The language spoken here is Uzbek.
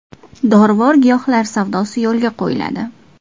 Dorivor giyohlar savdosi yo‘lga qo‘yiladi.